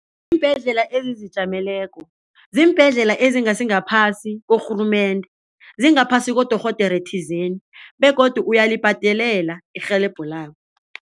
Iimbhedlela ezizijameleko ziimbhedlela ezingasingaphasi korhulumende singaphasi kodorhodere thizeni begodu uyalibadelela irhelebho labo.